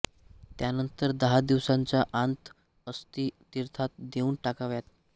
त्यानंतर दहा दिवसांच्या आंत अस्थी तीर्थात नेऊन टाकाव्यात